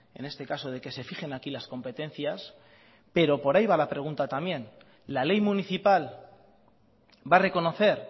en este caso de que se fijen aquí las competencias pero por ahí va la pregunta también la ley municipal va a reconocer